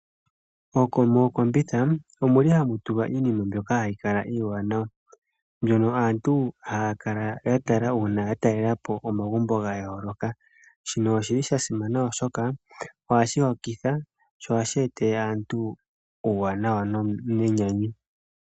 Mookombitha ohamu tulwa iinima mbyoka hayi kala iiwanawa, mbyoka aantu haya kala ya tala uuna ya talela po omagumbo ga yooloka. Shika osha simana, oshoka ohashi hokitha sho ohashi etele aantu uuwanawa nenyanyu.